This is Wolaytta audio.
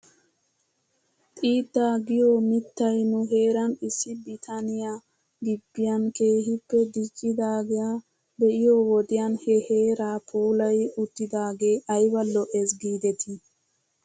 Xiidaa giyoo mittay nu heeran issi bitaneyaa gibbiyan keehippe diccidaagaa be'iyoo wodiyan he heeraa puulayi uttidaagee ayba lo'es giidetii .